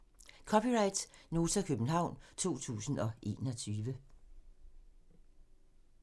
(c) Nota, København 2021